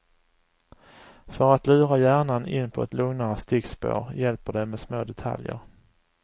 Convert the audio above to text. För att lura hjärnan in på ett lugnare stickspår hjälper det med små detaljer.